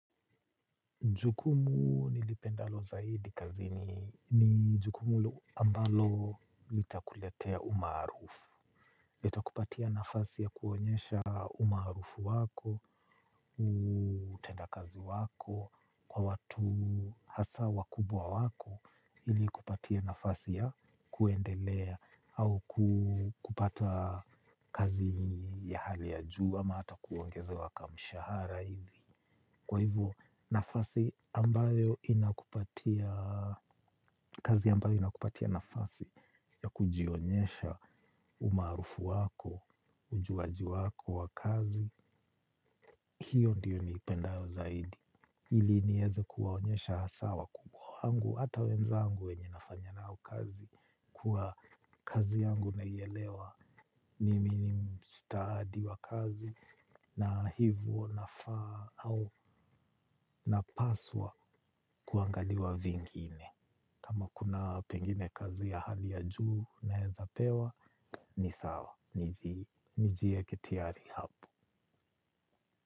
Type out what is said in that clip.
Jukumu nilipendalo zaidi kazi ni jukumu ambalo litakuletea umaarufu. Litakupatia nafasi ya kuonyesha umaarufu wako, utenda kazi wako, kwa watu hasa wakubwa wako, likupatie nafasi ya kuendelea au kupata kazi ya hali ya juu ama ata kuongezewa kamshahara hivi. Kwa hivyo nafasi ambayo inakupatia, kazi ambayo inakupatia nafasi ya kujionyesha umaarufu wako, ujuaji wako wa kazi, hiyo ndiyo niipendayo zaidi. Ili nieze kuwaonyesha hasa wakubwa wangu hata wenzangu wenye nafanya nao kazi kuwa kazi yangu naielewa ni mimi ni stadi wa kazi na hivo nafaa au napaswa kuangaliwa vingine. Kama kuna pengine kazi ya hali ya juu naeza pewa ni sawa, nijieke tayari hapo.